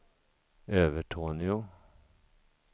Övertorneå